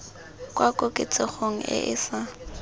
kwa koketsegong e e sa